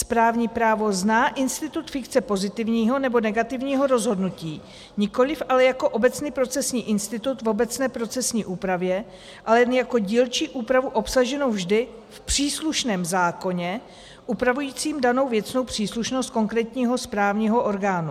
Správní právo zná institut fikce pozitivního nebo negativního rozhodnutí, nikoliv ale jako obecný procesní institut v obecné procesní úpravě, ale jen jako dílčí úpravu obsaženou vždy v příslušném zákoně upravujícím danou věcnou příslušnost konkrétního správního orgánu.